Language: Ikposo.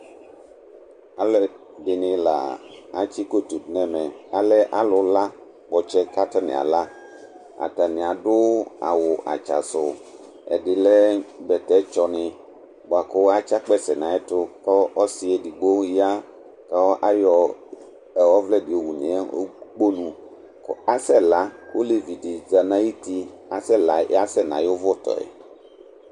aloɛdini la atsi koto do n'ɛmɛ alɛ alo la kpɔtsɛ k'atani ala atani ado awu atsa so ɛdi lɛ bɛtɛ tsɔ ni boa ko atsi akpɛsɛ to n'ayɛto k'ɔse edigbo ya ko ayɔ ɔvlɛ di yowu no ukponu ko asɛ la ko olevi di za n'ayiti asɛ la asɛ n'ayi òvò tɔ yɛ